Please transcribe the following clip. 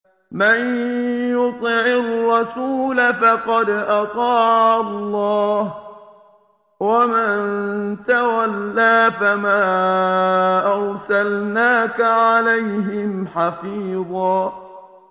مَّن يُطِعِ الرَّسُولَ فَقَدْ أَطَاعَ اللَّهَ ۖ وَمَن تَوَلَّىٰ فَمَا أَرْسَلْنَاكَ عَلَيْهِمْ حَفِيظًا